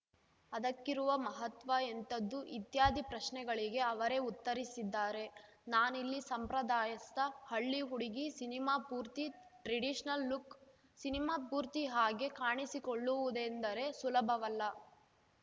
ಅದಕ್ಕಿರುವ ಮಹತ್ವ ಎಂಥದ್ದು ಇತ್ಯಾದಿ ಪ್ರಶ್ನೆಗಳಿಗೆ ಅವರೇ ಉತ್ತರಿಸಿದ್ದಾರೆ ನಾನಿಲ್ಲಿ ಸಂಪ್ರದಾಯಸ್ಥ ಹಳ್ಳಿ ಹುಡುಗಿ ಸಿನಿಮಾ ಪೂರ್ತಿ ಟ್ರೆಡಿಷನಲ್‌ ಲುಕ್‌ ಸಿನಿಮಾ ಪೂರ್ತಿ ಹಾಗೆ ಕಾಣಿಸಿಕೊಳ್ಳುವುದೆಂದರೆ ಸುಲಭವಲ್ಲ